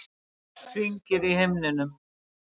Hringir í himninum.